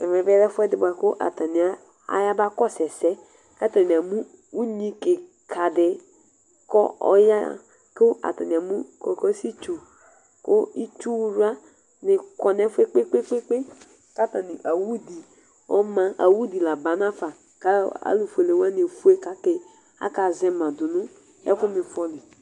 ɛmẽ lɛ ɛfũ di bũa ku atania ayabakɔsũ sɛ katani amũ uɲni kïkadĩ kɔ ɔya kũ atani amu kokossi tsu ku itsu yla ni kɔ nɛ fũẽ kpekpe ku awũ di awũdi labanafa